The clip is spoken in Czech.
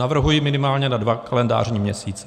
Navrhuji minimálně na dva kalendářní měsíce.